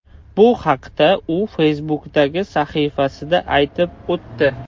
Bu haqda u Facebook’dagi sahifasida aytib o‘tdi .